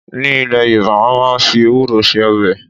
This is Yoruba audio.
Ní ilé Yoruba, wọ́n máa ń fi ewúro ṣe ọbẹ̀